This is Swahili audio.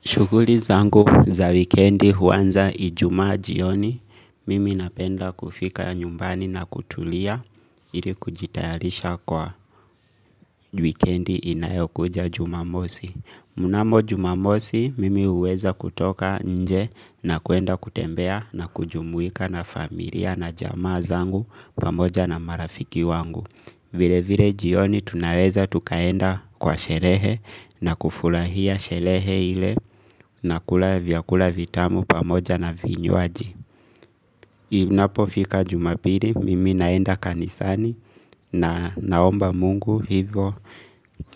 Shughuli zangu za wikendi huanza Ijumaa jioni, mimi napenda kufika nyumbani na kutulia ili kujitayarisha kwa wikendi inayokuja jumamosi. Mnamo jumamosi, mimi huweza kutoka nje na kuenda kutembea na kujumuika na familia na jamaa zangu pamoja na marafiki wangu. Vile vile jioni tunaweza tukaenda kwa sherehe na kufurahia sherehe ile na kula vyakula vitamu pamoja na vinywaji. Inapofika jumapili, mimi naenda kanisani na naomba mungu hivo